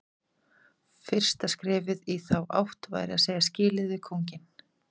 Fyrsta skrefið í þá átt væri að segja skilið við kónginn.